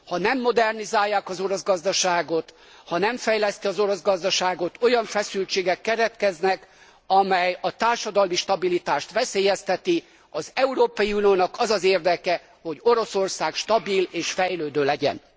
Ha nem modernizálják az orosz gazdaságot, ha nem fejlesztik az orosz gazdaságot, olyan feszültségek keletkeznek, amelyek a társadalmi stabilitást veszélyeztetik. Az Európai Uniónak az az érdeke, hogy Oroszország stabil és fejlődő legyen.